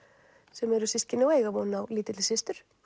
sem eru systkini og eiga von á lítilli systur